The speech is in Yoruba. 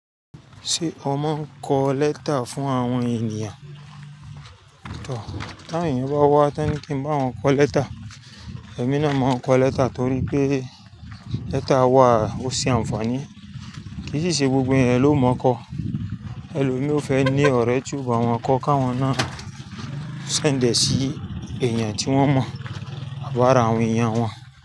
Ṣé ọmọ ń kọ lẹ́tà fún àwọn ènìyàn? Tọ̀, tí awon èeyàn bá wá tán ní kí n bá wọn kọ lẹ́tà, èmi náà máa ń kọ lẹ́tà torí pé lẹ́tà wà ó ṣe àǹfààní. Kì í sì ṣe gbogbo eeyan lòmọ́kọ. Ẹlòmíì ọ fẹ́ ní ọ̀rẹ́ ti o ba wọn kọ ká wọn náà send ẹ sí èèyàn tí wọ́n mọ̀ àbi ara àwọn èèyàn wọn.